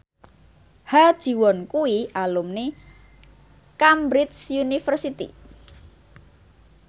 Ha Ji Won kuwi alumni Cambridge University